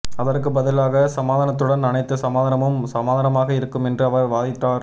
அதற்கு பதிலாக சமாதானத்துடன் அனைத்து சமாதானமும் சமாதானமாக இருக்கும் என்று அவர் வாதிட்டார்